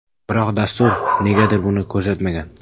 Biroq dastur negadir buni ko‘rsatmagan.